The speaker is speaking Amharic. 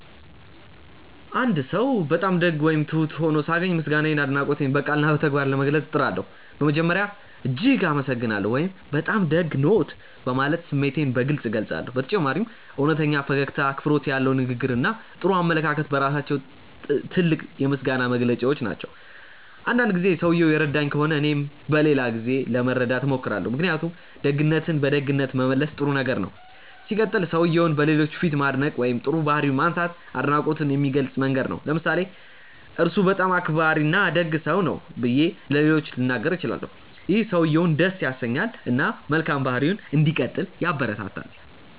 አንድ ሰው በጣም ደግ ወይም ትሁት ሆኖ ሳገኝ ምስጋናዬንና አድናቆቴን በቃልና በተግባር ለመግለጽ እጥራለሁ። በመጀመሪያ "እጅግ አመሰግናለሁ" ወይም “በጣም ደግ ነዎት” በማለት ስሜቴን በግልጽ እገልጻለሁ። በተጨማሪም እውነተኛ ፈገግታ፣ አክብሮት ያለው ንግግር እና ጥሩ አመለካከት በራሳቸው ትልቅ የምስጋና መግለጫዎች ናቸው። አንዳንድ ጊዜ ሰውየው የረዳኝ ከሆነ እኔም በሌላ ጊዜ ለመርዳት እሞክራለሁ። ምክንያቱም ደግነትን በደግነት መመለስ ጥሩ ነገር ነው። ሲቀጥል, ሰውየውን በሌሎች ፊት ማድነቅ ወይም ጥሩ ባህሪውን ማንሳት አድናቆትን የሚገልጽ መንገድ ነው። ለምሳሌ "እርሱ በጣም አክባሪና ደግ ሰው ነው" ብዬ ለሌሎች ልናገር እችላለሁ። ይህ ሰውየውን ደስ ያሰኛል እና መልካም ባህሪውን እንዲቀጥል ያበረታታል።